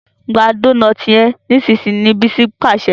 gbà Dónáátì yén nísìsiyìí! ní Bisi pàṣẹ.